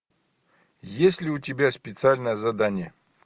есть ли у тебя специальное задание